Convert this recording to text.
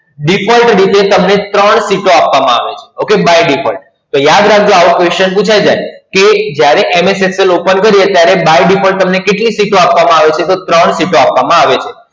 Default રીતે તમને ત્રણ Sheet આપવામાં આવે છે. Okay, by default યાદ રાખજો આવા Question પૂછાઇ જાય. કે જ્યારે MS Excel open કરીએ ત્યારે By default તમને કેટલી Sheet આપવામાં આવે છે? તો ત્રણ Sheet આપવામાં આવે છે.